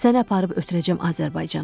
Səni aparıb ötürəcəm Azərbaycana.